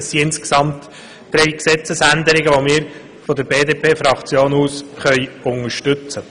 Die insgesamt drei Änderungen können wir von der BDP-Fraktion unterstützen.